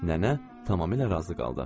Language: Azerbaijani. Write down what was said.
Nənə tamamilə razı qaldı.